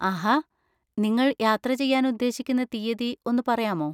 ആഹാ! നിങ്ങൾ യാത്ര ചെയ്യാൻ ഉദ്ദേശിക്കുന്ന തീയതി ഒന്ന് പറയാമോ?